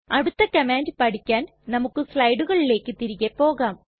അടുത്ത കമാൻഡ് പഠിക്കാൻ നമുക്ക് സ്ലയടുകളിലേക്ക് തിരികെ പോകാം